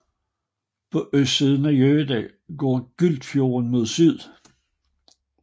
På østsiden af Jøa går Gyltfjorden mod syd